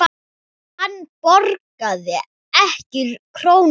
Hann borgaði ekki krónu.